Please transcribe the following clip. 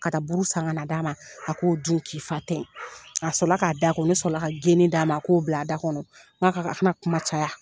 Ka buru san ka na d'a ma a k'o dun k'i fa tɛ a sɔrɔ k'a da ko ne sɔrɔla ka geni d'a ma a k'o bila a da kɔnɔ n ko a ka a kana kuma caya